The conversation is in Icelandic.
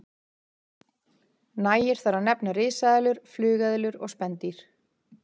Nægir þar að nefna risaeðlur, flugeðlur og spendýr.